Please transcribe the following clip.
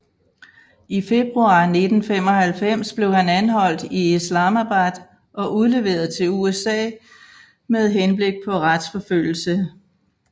I februar 1995 blev han anholdt i Islamabad og udleveret til USA med henblik på retsforfølgelse